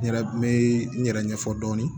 N yɛrɛ n bɛ n yɛrɛ ɲɛfɔ dɔɔni